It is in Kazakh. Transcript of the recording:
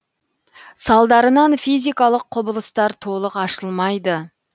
салдарынан физикалық құбылыстар толық ашылмайды